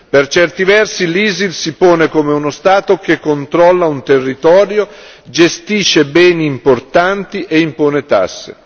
Per certi versi l'ISIL si pone come uno Stato che controlla un territorio, gestisce beni importanti e impone tasse.